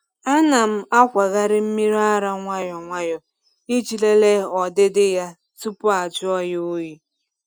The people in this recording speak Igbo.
A na m akwagharị mmiri ara nwayọ nwayọ iji lelee ọdịdị ya tupu ajụọ ya oyi.